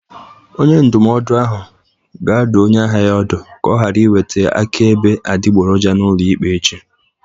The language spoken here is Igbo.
Onye ndụmọdụ ga-adụ onye ahịa ya ọdụ ka ọ ghara iweta akaebe adịgboroja n'ụlọ ikpe echi